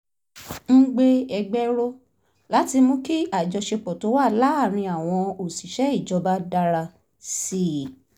ń gbé ẹgbẹ́ ró láti mú kí àjọṣe tó wà láàárín àwọn òṣìṣẹ́ ìjọba dára sí i